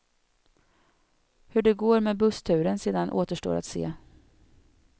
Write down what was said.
Hur det går med bussturen sedan återstår att se.